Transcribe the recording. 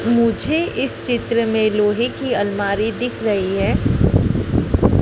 मुझे इस चित्र में लोहे की अलमारी दिख रही है।